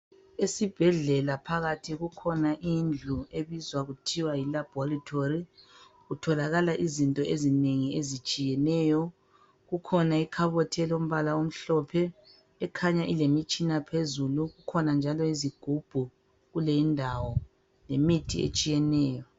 Esibhedlela phakathi kukhona indlu ebizwa kuthiwa yilaboratory. Kutholakala izinto ezinengi ezitshiyeneyo. Kukhona ikhabothi elombala omhlophe, ekhanya ilemitshina phezulu. Kukhona njalo izigubhu kule indawo ,yimithi etshiyeneyo.